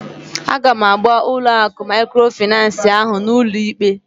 Aga m agba ụlọ akụ maịkrofịnansị ahụ n'ụlọ ikpe